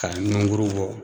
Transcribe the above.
K'a nungurun bɔ